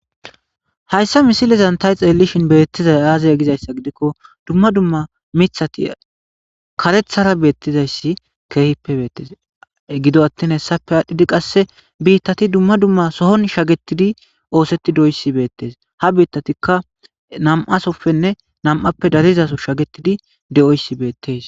hayssa misilizan tay xeellishin beettizay aaze gizayssa gidikko dumma dumma mithati karethara beettizayssi keehippe beettes gido attin hessape aadhdhidi qasse biittati dumma dumma sohon shagetidi oosetti dooyssi beettes ha biittatikka nam7asoppenne namappe darizaso shagetidi de7oyssi beettes